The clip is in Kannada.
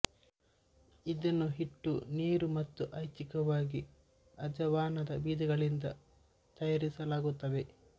ಇದನ್ನು ಹಿಟ್ಟು ನೀರು ಮತ್ತು ಐಚ್ಛಿಕವಾಗಿ ಅಜವಾನದ ಬೀಜಗಳಿಂದ ತಯಾರಿಸಲಾಗುತ್ತದೆ